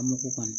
An m'o kɔni